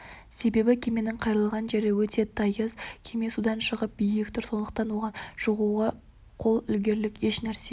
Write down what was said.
себебі кеменің қайырлаған жері өте тайыз кеме судан шығып биік тұр сондықтан оған шығуға қол ілігерлік еш нәрсе